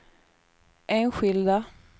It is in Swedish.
enskilda